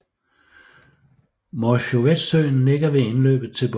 Morzjovetsøen ligger ved indløbet til bugten